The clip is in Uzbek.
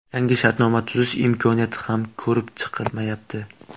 Yangi shartnoma tuzish imkoniyati ham ko‘rib chiqilmayapti.